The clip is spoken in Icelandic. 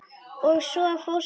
Og svo fórstu.